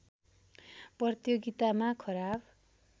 प्रतियोगितामा खराब